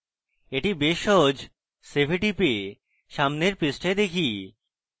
এটি বেশ সহজ save a টিপে সামনের পৃষ্ঠায় দেখি